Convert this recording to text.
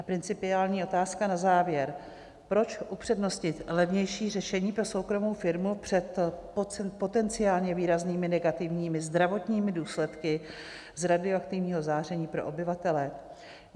A principiální otázka na závěr: Proč upřednostnit levnější řešení pro soukromou firmu před potenciálně výraznými negativními zdravotními důsledky z radioaktivního záření pro obyvatele?